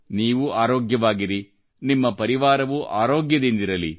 ನೀವು ಆರೋಗ್ಯವಾಗಿರಿ ನಿಮ್ಮ ಪರಿವಾರವೂ ಆರೋಗ್ಯದಿಂದಿರಲಿ